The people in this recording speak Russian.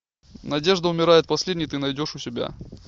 надежда умирает последней ты найдешь у себя